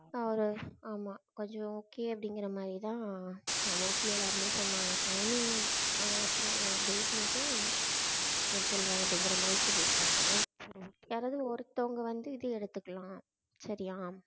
அது ஆமாம் கொஞ்சம் okay அப்படிங்குற மாதிரி தான் mostly எல்லாருமே சொன்னாங்க timing ஆஹ் அப்புறம் date மட்டும் அப்புறம் சொல்றேன் அப்படிங்குற மாதிரி சொல்லிருக்காங்க. யாராவது ஒருத்தவங்க வந்து இது எடுத்துக்கலாம். சரியா?